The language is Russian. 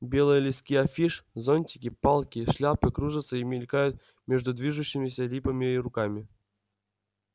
белые листки афиш зонтики палки шляпы кружатся и мелькают между движущимися липами и руками